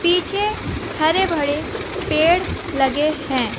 पीछे हरे भरे पेड़ लगे है।